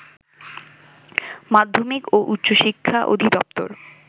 মাধ্যমিক ও উচ্চ শিক্ষা অধিদপ্তর